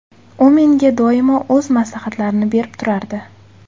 U menga doimo o‘z maslahatlarini berib turardi.